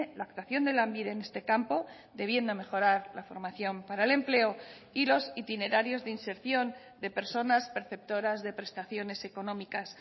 la actuación de lanbide en este campo debiendo mejorar la formación para el empleo y los itinerarios de inserción de personas perceptoras de prestaciones económicas